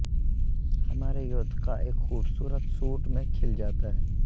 ہمارے یودقا ایک خوبصورت سوٹ میں کھل جاتا ہے